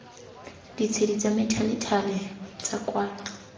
ditshedi tsa methalethale tsa kwalo